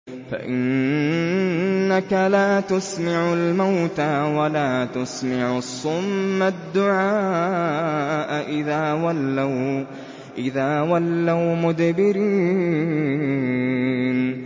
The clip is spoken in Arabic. فَإِنَّكَ لَا تُسْمِعُ الْمَوْتَىٰ وَلَا تُسْمِعُ الصُّمَّ الدُّعَاءَ إِذَا وَلَّوْا مُدْبِرِينَ